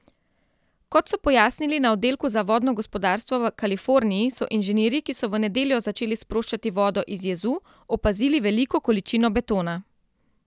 Kot so pojasnili na oddelku za vodno gospodarstvo v Kaliforniji, so inženirji, ki so v nedeljo začeli sproščati vodo iz jezu, opazili veliko količino betona.